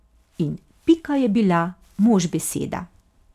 In Pika je bila mož beseda.